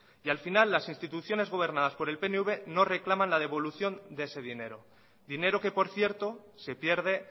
y al final las instituciones gobernadas por el pnv no reclaman la devolución de ese dinero dinero que por cierto se pierde